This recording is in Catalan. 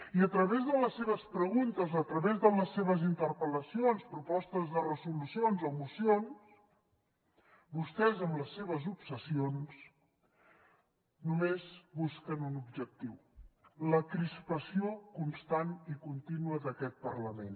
i a través de les seves preguntes a través de les seves interpel·lacions propostes de resolució o mocions vostès amb les seves obsessions només busquen un objectiu la crispació constant i contínua d’aquest parlament